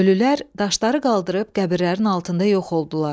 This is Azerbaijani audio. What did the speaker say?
Ölülər daşları qaldırıb qəbirlərin altında yox oldular.